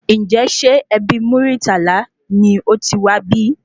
Ǹjẹ ṣe ẹbí Muritala ni otiwá bí?